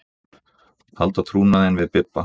Halda trúnaðinn við Bibba.